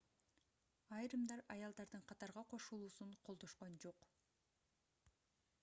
айрымдар аялдардын катарга кошулуусун колдошкон жок